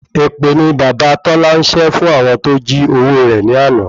Ẹ̀pẹ̀ ni bàbá Tola n sé fún àwọn tó jí owó rẹ̀ ni ana